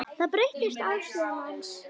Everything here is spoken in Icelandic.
Það breytti afstöðu hans.